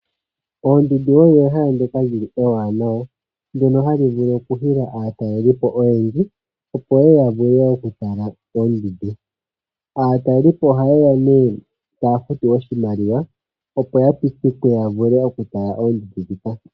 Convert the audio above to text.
Oondundu odho ehala ndoka lyili ewanawa ndono hali vulu okuhila aatalelipo oyendji opo ye ya vule okutala oondundu. Aatalelipo ohaye ya nee taa futu oshimaliwa opo ya pitikwe ya vule okutala oondundu ndhika.